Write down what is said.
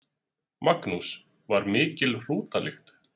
Magnús: Var mikil hrútalykt?